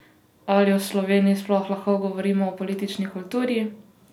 Ali v Sloveniji sploh lahko govorimo o politični kulturi?